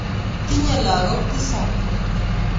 Tinye lakok tisab